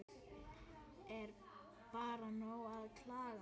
Er bara nóg að klaga?